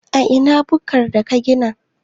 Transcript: A ina bukkar da ka gina?